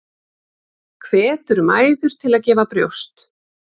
Hvetur mæður til að gefa brjóst